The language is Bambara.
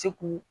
Se k'u